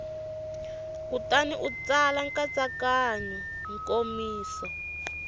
kutani u tsala nkatsakanyo nkomiso